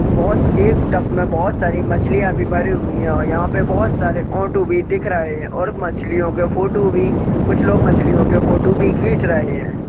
बहोत एक टप में बहोत सारी मछलीयां भी भरी हुई हैं और यहां पे बहोत सारे ऑटो भी दिख रहें हैं और मछलियों के फोटो भी कुछ लोग मछलियों के फोटो भी खींच रहे हैं।